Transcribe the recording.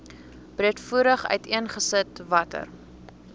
breedvoerig uiteengesit watter